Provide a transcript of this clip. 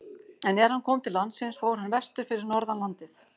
En er hann kom til landsins fór hann vestur fyrir norðan landið.